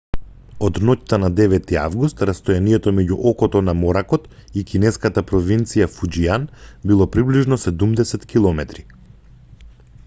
од ноќта на 9 август растојанието меѓу окото на моракот и кинеската провинција фуџијан било приближно седумдесет километри